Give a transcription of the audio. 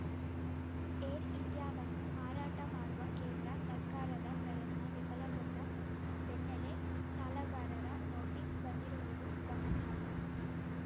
air ಇಂಡಿಯಾವನ್ನು ಮಾರಾಟ ಮಾಡುವ ಕೇಂದ್ರ ಸರ್ಕಾರದ ಪ್ರಯತ್ನ ವಿಫಲಗೊಂಡ ಬೆನ್ನಲ್ಲೇ ಸಾಲಗಾರರ ನೋಟಿಸ್‌ ಬಂದಿರುವುದು ಗಮನಾರ್ಹ